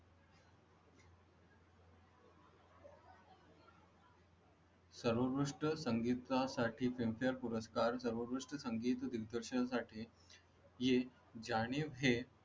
सर्वोत्कृष्ट संगीतकार साठी filmfare पुरस्कार सर्वोत्कृष्ट संगीत दिग्दर्शन साठी हे जनीब हे